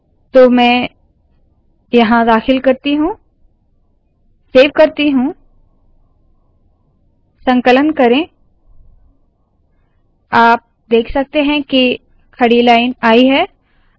तो मैं यहाँ दाखिल करती हूँ सेव करती हूँ संकलन करे आप देख सकते है के खड़ी लाइन आई है